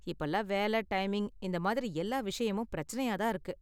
இப்பல்லாம் வேலை, டைமிங் இந்த மாதிரி எல்லா விஷயமும் பிரச்சனையா தான் இருக்கு.